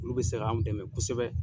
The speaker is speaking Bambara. Olu bɛ se ka anw dɛmɛ kosɛbɛ.